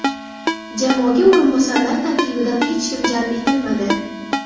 Jamoaga o‘rinbosarlar tarkibidan hech kim jalb etilmadi.